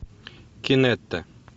кинетта